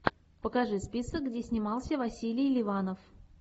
покажи список где снимался василий ливанов